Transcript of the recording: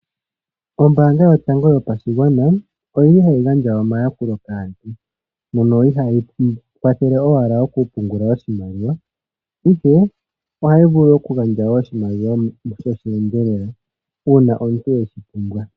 Ombaanga yotango yopashigwana oyili hayi gandja omayakulo kaantu mono ihaayi kwathele owala oku pungula oshimaliwa ihe, ohayi vulu wo oku gandja oshimaliwa shosheendelela uuna omuntu weshi pumbwa.